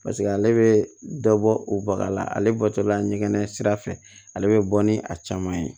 paseke ale be dɔ bɔ o baga la ale bɔtɔla ɲɛgɛn sira fɛ ale be bɔ ni a caman ye